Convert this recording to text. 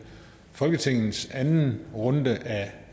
folketingets anden runde af